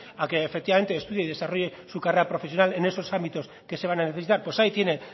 a que efectivamente estudie y desarrolle su carrera profesional en esos ámbitos que se van a necesitar pues ahí tiene